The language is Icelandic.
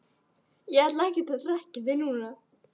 Ég ætla ekkert að hrekkja þig núna,